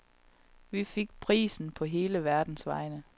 Vi fik prisen på hele verdens vegne.